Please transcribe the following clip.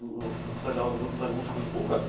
ну вставлял заглушку звука